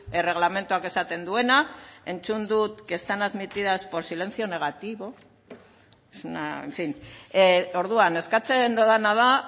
erregelamenduak esaten duena entzun dut que están admitidas por silencio negativo en fin orduan eskatzen dodana da